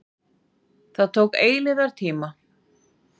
Það tók eilífðartíma.